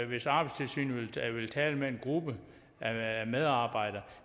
hvis arbejdstilsynet vil tale med en gruppe af medarbejdere